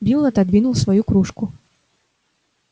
билл отодвинул свою кружку